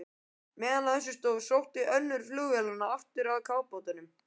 Meðan á þessu stóð, sótti önnur flugvélanna aftur að kafbátnum.